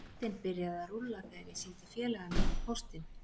Boltinn byrjaði að rúlla þegar ég sýndi félaga mínum póstinn.